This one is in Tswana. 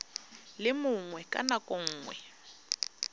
le mongwe ka nako nngwe